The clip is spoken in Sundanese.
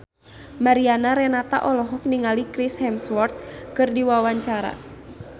Mariana Renata olohok ningali Chris Hemsworth keur diwawancara